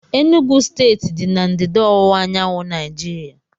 Enugwu steeti dị na ndịda ọwụwa anyanwụ Naijiria